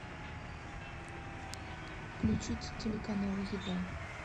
включить телеканал еда